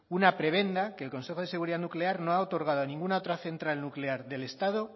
una prebenda que el consejo de seguridad nuclear no ha otorgado a ninguna otra central nuclear del estado